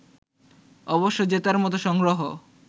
অবশ্য জেতার মতো সংগ্রহ